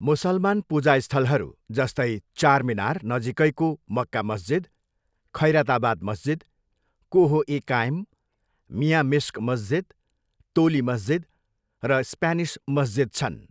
मुसलमान पूजा स्थलहरू, जस्तै, चारमिनार नजिकैको मक्का मस्जिद, खैरताबाद मस्जिद, कोह ए काइम, मियाँ मिस्क मस्जिद, तोली मस्जिद र स्प्यानिस मस्जिद छन्।